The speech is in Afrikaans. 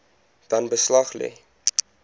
dan beslag lê